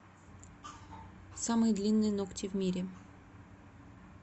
самые длинные ногти в мире